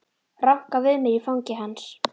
Ranka við mér í fangi hans.